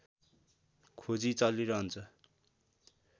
खोजी चलिरहन्छ